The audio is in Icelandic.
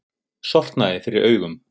Sortnaði fyrir augum.